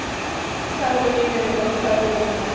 Sálin í mér er bara sálin í mér.